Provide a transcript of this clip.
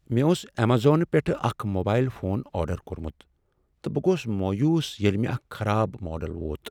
مےٚ اوس ایمیزون پؠٹھ اکھ موبایل فون آرڈر کوٚرمت تہٕ بہٕ گوس مویوٗس ییٚلہ مےٚ اکھ خراب ماڈل ووت۔